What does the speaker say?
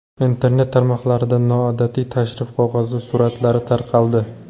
Internet tarmoqlarida noodatiy tashrif qog‘ozi suratlari tarqaldi .